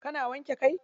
Kana wanke kai?